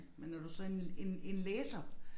Men når du så en en en læser